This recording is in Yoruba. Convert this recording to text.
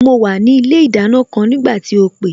Mo wà ní ilé ìdáná kan nígbà tí o pè